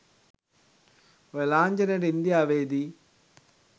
ඔය ලාංඡනේට ඉන්දියාවෙදි